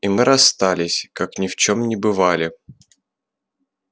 и мы расстались как ни в чём не бывали